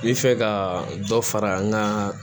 N bɛ fɛ ka dɔ fara n ka